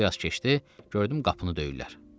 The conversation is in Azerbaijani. Bir az keçdi, gördüm qapını döyürlər.